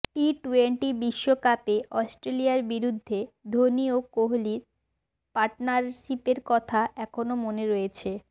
টি twenty বিশ্বকাপে অস্ট্রেলিয়ার বিরুদ্ধে ধোনি ও কোহালির পার্টনারশিপের কথা এখনও মনে রয়েছে